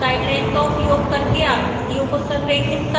guideline का उपयोग करके आकृतियों को संरेखित करना